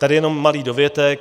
Tady jenom malý dovětek.